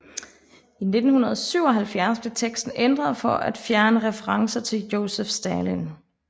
I 1977 blev teksten ændret for at fjerne referencer til Josef Stalin